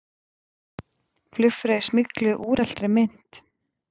Flugfreyjur smygluðu úreltri mynt